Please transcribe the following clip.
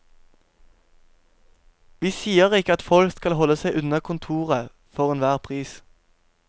Vi sier ikke at folk skal holde seg unna kontoret for enhver pris.